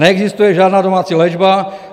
Neexistuje žádná domácí léčba.